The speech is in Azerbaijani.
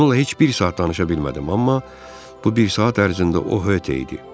Onunla heç bir saat danışa bilmədim, amma bu bir saat ərzində o höte idi.